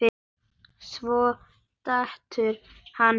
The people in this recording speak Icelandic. Svo dettur hann út.